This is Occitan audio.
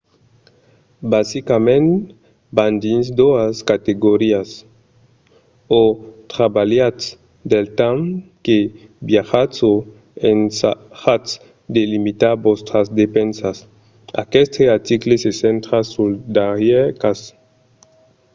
basicament van dins doas categorias: o trabalhatz del temps que viatjatz o ensajatz de limitar vòstras despensas. aqueste article se centra sul darrièr cas